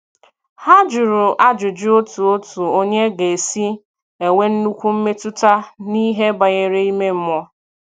Ha jụrụ ajụjụ otu otu onye ga - esi enwe nnukwu mmetụta n'ihe banyere ime mmụọ.